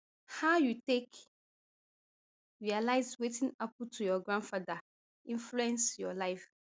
how you take realise wetin happun to your grandfather influence your life